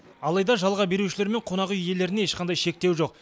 алайда жалға берушілер мен қонақ үй иелеріне ешқандай шектеу жоқ